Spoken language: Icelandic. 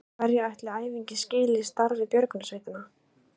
En hverju ætli æfingin skili starfi björgunarsveitanna?